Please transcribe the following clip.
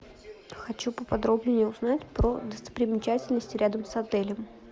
хочу поподробнее узнать про достопримечательности рядом с отелем